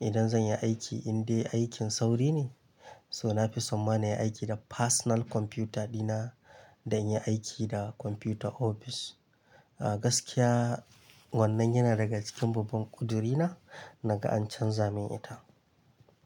idan zanyi aiki indai aikin sauri ne. So nafi so ma na yi aiki da personal kwamfuta dina dan in yi aiki da kwamfutar ofis. A gaskiya wannan yana daga cikin babban ƙuduri na naga an canza min ita.